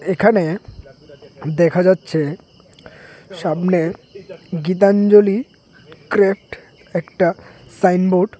এখানে দেখা যাচ্ছে সামনে গীতাঞ্জলি কেরেফ্ট একটা সাইনবোর্ড ।